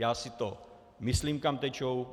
Já si to myslím, kam tečou.